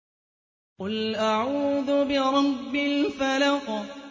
قُلْ أَعُوذُ بِرَبِّ الْفَلَقِ